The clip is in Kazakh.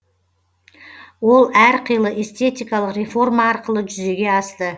ол әр қилы эстетикалық реформа арқылы жүзеге асты